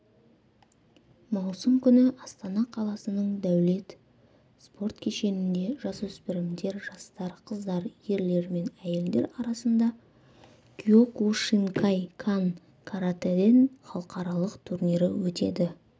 маусым күні астана қаласының дәулет спорт кешенінде жасөспірімдер жастар қыздар ерлер мен әйелдер арасында киокушинкай-кан каратэден халықаралық турнирі өтеді